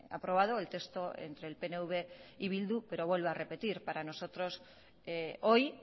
aprobado el texto entre el pnv y bildu pero vuelvo a repetir para nosotros hoy